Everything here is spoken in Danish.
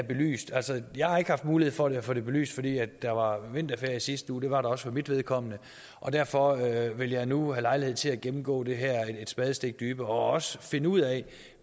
belyst altså jeg har ikke haft mulighed for at få det belyst fordi der var vinterferie i sidste uge det var der også for mit vedkommende og derfor vil jeg nu have lejlighed til at gennemgå det her et spadestik dybere og også finde ud af